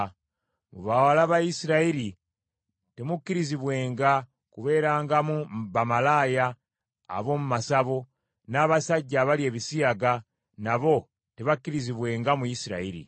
“Mu bawala ba Isirayiri temukkirizibwenga kubeerangamu bamalaaya ab’omu masabo, n’abasajja abalya ebisiyaga nabo tebakkirizibwenga mu Isirayiri.